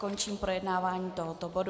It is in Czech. Končím projednávání tohoto bodu.